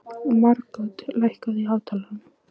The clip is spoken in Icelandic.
Margot, lækkaðu í hátalaranum.